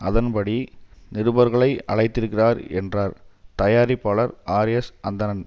அதன் படி நிருபர்களை அழைத்திருக்கிறார் என்றார் தயாரிப்பாளர் ஆர்எஸ் அந்தணன்